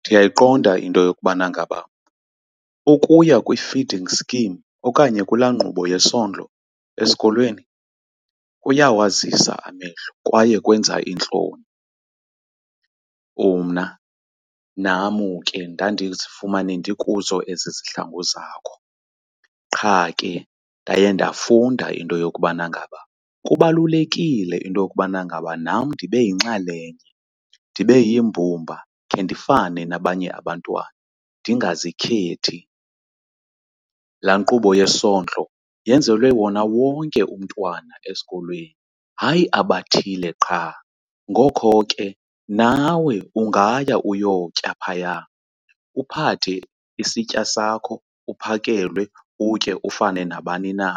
Ndiyayiqonda into yokubana ngaba ukuya kwi-feeding scheme okanye kulaa nkqubo yesondlo esikolweni kuyawazisa amehlo kwaye kwenza iintloni. Umna nam ke ndandizifumane ndikuzo ezi zihlangu zakho qha ke ndaye ndafunda into yokubana ngaba kubalulekile into yokubana ngaba nam ndibe yinxalenye ndibe yimbumba khe andifane nabanye abantwana ndingazikhethi. Laa nkqubo yesondlo yenzelwe wona wonke umntwana esikolweni hayi abathile qha, ngoko ke nawe ungaya uyotya phaya, uphathe isitya sakho uphakelwe utye ufane nabani na.